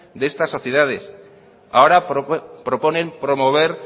de estas sociedades ahora proponen promover